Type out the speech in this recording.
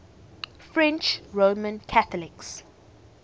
french roman catholics